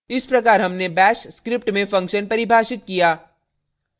इस प्रकार हमने bash script में function परिभाषित किया